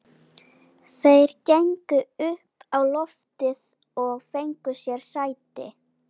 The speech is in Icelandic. Þeir gengu upp á loftið og fengu sér sæti.